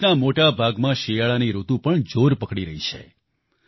દેશના મોટા ભાગમાં શિયાળાની ઋતુ પણ જોર પકડી રહી છે